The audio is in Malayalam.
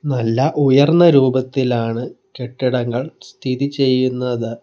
നല്ല ഉയർന്ന രൂപത്തിലാണ് കെട്ടിടങ്ങൾ സ്ഥിതി ചെയ്യുന്നത്.